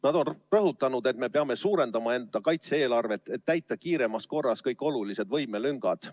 Nad on rõhutanud, et me peame suurendama enda kaitse-eelarvet, et täita kiiremas korras kõik olulised võimelüngad.